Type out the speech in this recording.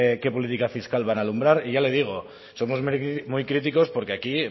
qué política fiscal van a alumbrar y ya le digo somos muy críticos porque aquí